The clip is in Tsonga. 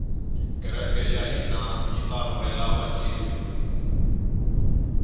kereke yahhina yitarhurhela vatjini